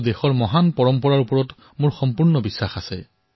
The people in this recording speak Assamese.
এই দেশৰ মহান পৰম্পৰাৰ ওপৰত মোৰ সম্পূৰ্ণ বিশ্বাস আছে